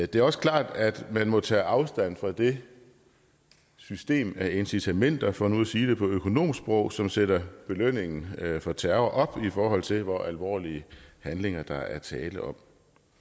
det er også klart at man må tage afstand fra det system af incitamenter for nu at sige det på økonomsprog som sætter belønningen for terror op i forhold til hvor alvorlige handlinger der er tale om